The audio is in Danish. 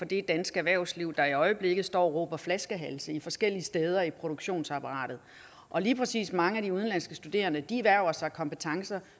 det danske erhvervsliv der i øjeblikket står og råber flaskehalse forskellige steder i produktionsapparatet og lige præcis mange af de udenlandske studerende erhverver sig kompetencer